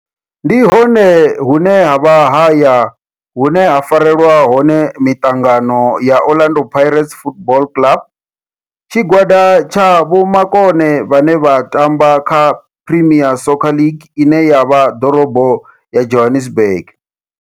Ndi hone hune havha haya hune ha farelwa hone mitangano ya Orlando Pirates Football Club. Tshigwada tsha vhomakone vhane vha tamba kha Premier Soccer League ine ya vha Dorobo ya Johannesburg.